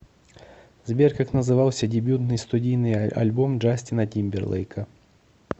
сбер как назывался дебютный студийный альбом джастина тимберлейка